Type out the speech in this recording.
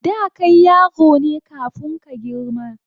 Da kai yaro ne kafun ka girma